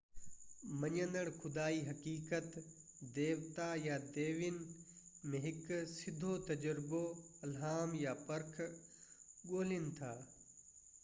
مڃيندڙ خدائي حقيقت/ديوتا يا ديوين ۾ هڪ سڌو تجربو، الهام، يا پرک ڳولهين ٿا